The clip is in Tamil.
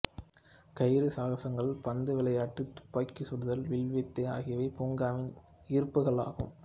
கயிறு சாகசங்கள் பந்து விளையாட்டு துப்பாக்கி சுடுதல் வில்வித்தை ஆகியவை பூங்காவின் ஈர்ப்புகளாகும்